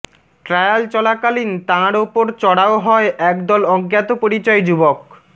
trial চলাকালীন তাঁর উপর চড়াও হয় এক দল অজ্ঞাত পরিচয় যুবক